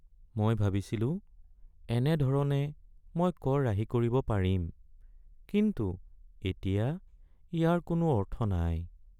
মই ভাবিছিলোঁ এনেধৰণে মই কৰ ৰাহি কৰিব পাৰিম, কিন্তু এতিয়া ইয়াৰ কোনো অৰ্থ নাই।